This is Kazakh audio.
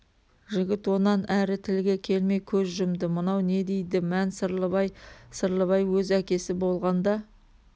жігіт онан әрі тілге келмей көз жұмды мынау не дейді мән сырлыбай сырлыбай өз әкесі болғанда